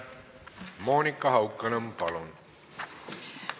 Monika Haukanõmm, palun!